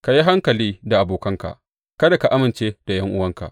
Ka yi hankali da abokanka; kada ka amince da ’yan’uwanka.